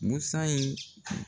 Busan in